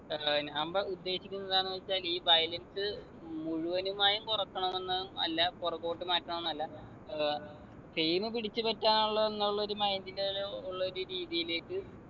ഏർ ഞാൻ പറ ഉദ്ദേശിക്കുന്നത് എന്താണെന്ന് വെച്ചാൽ ഈ violence മുഴുവനുമായും കുറക്കണം എന്ന് അല്ല പുറകോട്ട് മാറ്റണംന്നല്ല ഏർ fame പിടിച്ചു പറ്റാനുള്ള എന്നുള്ള ഒരു mind ല് ഒരു ഉള്ളൊരു രീതിയിലേക്ക്